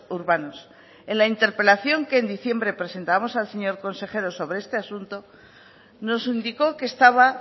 urbanos en la interpelación que en diciembre presentábamos al señor consejero sobre este asunto nos indicó que estaba